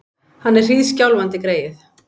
Hann er hríðskjálfandi, greyið!